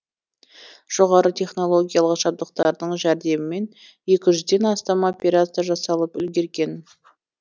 жоғары технологиялық жабдықтардың жәрдемімен екі жүзден астам операция жасалып үлгерген